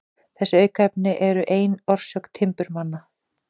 Þessi aukaefni eru ein orsök timburmanna.